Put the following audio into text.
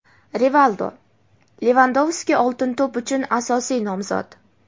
Rivaldo: "Levandovski "Oltin to‘p" uchun asosiy nomzod.